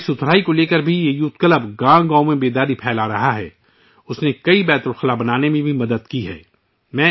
یہ youth club ہر گاؤں میں صفائی ستھرائی کے حوالے سے بیداری بھی پھیلا رہا ہے، اس نے کئی بیت الخلاء کی تعمیر میں بھی مدد کی ہے